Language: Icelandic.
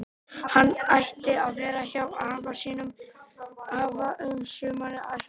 Hann átti að vera hjá afa um sumarið að hjálpa til.